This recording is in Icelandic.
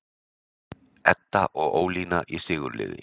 Edda og Ólína í sigurliði